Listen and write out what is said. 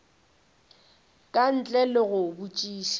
ka ntle le go botšiša